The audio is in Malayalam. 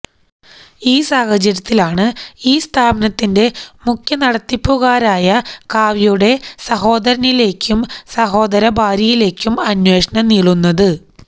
ഈ സാഹചര്യത്തിലാണ് ഈ സ്ഥാപനത്തിന്റെ മുഖ്യ നടത്തിപ്പുകാരായ കാവ്യയുടെ സഹോദരനിലേക്കും സഹോദര ഭാര്യയിലേക്കും അന്വേഷണം നീളുന്നത്